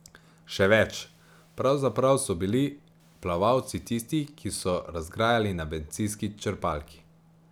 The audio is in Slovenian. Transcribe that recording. Še več, pravzaprav so bili plavalci tisti, ki so razgrajali na bencinski črpalki.